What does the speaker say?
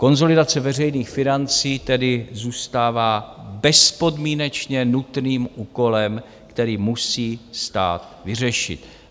Konsolidace veřejných financí tedy zůstává bezpodmínečně nutným úkolem, který musí stát vyřešit.